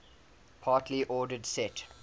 partially ordered set